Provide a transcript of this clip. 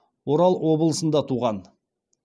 орал облысында туған